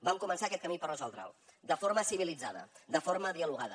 vam començar aquest camí per resoldre’l de forma civilitzada de forma dialogada